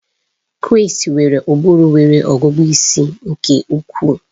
Chris nwere ụbụrụ nwere ọgụgụ isi nke ukwuu